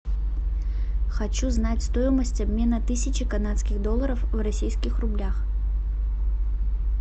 хочу знать стоимость обмена тысячи канадских долларов в российских рублях